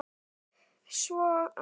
Svo annað.